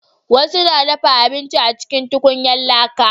wasu na dafa abinci a cikin tukunyan laƙa